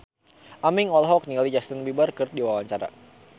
Aming olohok ningali Justin Beiber keur diwawancara